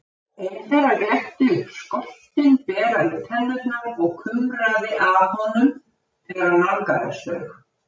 Eitt þeirra glennti upp skoltinn, beraði tennurnar og kumraði að honum þegar hann nálgaðist þau.